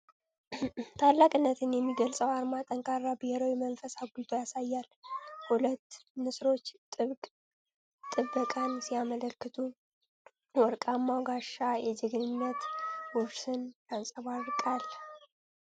ታላቅነትን የሚገልጸው አርማ ጠንካራ ብሔራዊ መንፈስ አጉልቶ ያሳያል ። ሁለቱ ንስሮች ጥብቅ ጥበቃን ሲያመለክቱ፣ ወርቃማው ጋሻ የጀግንነት ውርስን ያንጸባርቃል ።